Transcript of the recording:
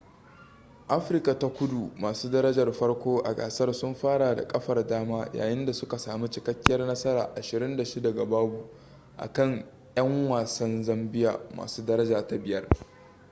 afirka ta kudu masu darajar farko a gasar sun fara da kafar dama yayin da suka sami cikakkiyar nasara 26 - 00 akan 'yan wasan zambia masu daraja ta 5